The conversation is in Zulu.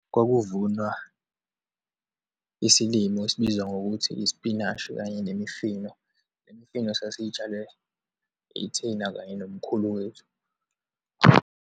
Kwakuvunwa isilimo esibizwa ngokuthi isipinashi kanye nemifino. Le mifino sasiyitshale ithina kanye nomkhulu wethu.